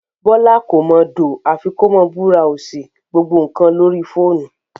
Bọ́lá kò mọ dòò àfi kó máa búráósì gbogbo nǹkan lórí fóònù